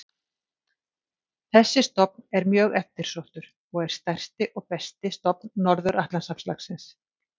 Þessi stofn er mjög eftirsóttur og er stærsti og besti stofn Norður-Atlantshafslaxins.